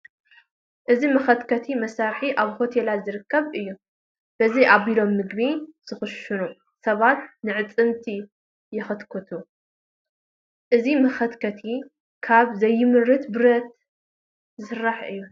እዚ መኸትከቲ መሳርሒ ኣብ ሆቴላት ዝርከብ እዩ፡፡ በዚ ኣቢሎም ምግቢ ዝኽሽኑ ሰባት ንኣዕፅምቲ ይኽትክቱ፡፡ እዚ መኸትከቲ ካብ ዘይምርት ብረት ዝስራሕ እዩ፡፡